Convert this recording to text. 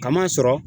Kama sɔrɔ